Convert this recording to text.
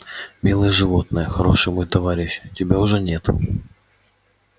милое животное хороший мой товарищ тебя уже нет